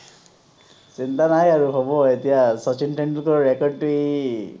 চিন্তা নাই আৰু হ’ব এতিয়া, শচীন টেন্ডোলকাৰৰ record. টো ই